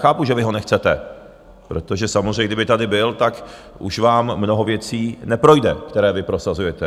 Chápu, že vy ho nechcete, protože samozřejmě, kdyby tady byl, tak už vám mnoho věcí neprojde, které vy prosazujete.